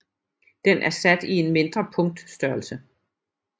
Den er sat i en mindre punktstørrelse